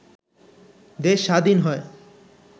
দেশ স্বাধীন হয়